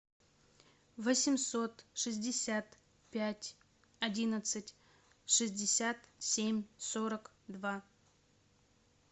восемьсот шестьдесят пять одиннадцать шестьдесят семь сорок два